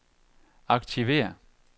aktiver